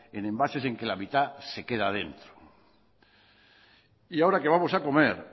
en envases en que la mitad se queda dentro y ahora que vamos a comer